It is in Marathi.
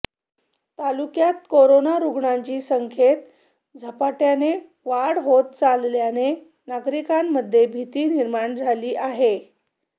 तालुक्यात कोरोना रुग्णांची संख्येत झपाट्याने वाढ होत चालल्याने नागरिकांमध्ये भीती निर्माण झाली आहे